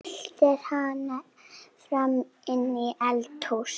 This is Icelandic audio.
Eltir hana fram í eldhús.